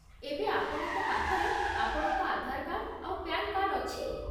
ଏବେ ଆପଣଙ୍କ ପାଖରେ ଆପଣଙ୍କ ଆଧାର କାର୍ଡ୍ ଆଉ ପ୍ୟାନ୍ କାର୍ଡ୍ ଅଛି ?